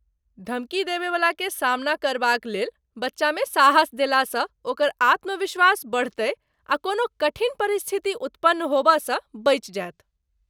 धमकी देबयवलाकेँ सामना करबाकलेल बच्चामे साहस देलासँ ओकर आत्मविश्वास बढ़तै आ कोनो कठिन परिस्थिति उतपन्न होबयसँ बचि जायत।